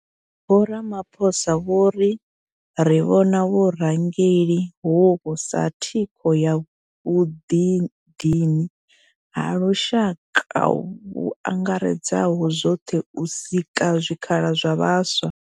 Vho Ramaphosa vho riri vhona vhurangeli hovhu sa thikho ya vhuḓidini ha lushaka vhu angaredzaho zwoṱhe u sika zwikhala zwa vhaswa.